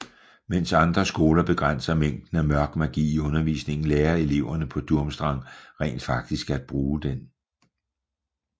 Mens andre skoler begrænser mængden af Mørk Magi i undervisningen lærer eleverne på Durmstrang rent faktisk at bruge den